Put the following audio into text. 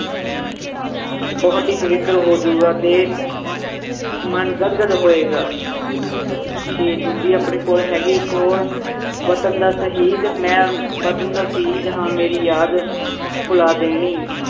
ਬਹੁਤ ਹੀ ਪਵਿੱਤਰ ਹੋ ਜਾਊਗਾ ਤੇ ਮਨ ਗਦ ਗਦ ਹੋਏਗਾ ਤੇ ਦੂਜੀ ਆਪਣੀ ਕੋਲ ਹੈਗੀ ਇੱਕ ਹੋਰ ਵਤਨ ਦਾ ਸ਼ਹੀਦ ਮੈਂ ਵਤਨ ਦਾ ਸ਼ਹੀਦ ਹਾਂ ਮੇਰੀ ਯਾਦ ਭੁਲਾ ਦੇਣੀ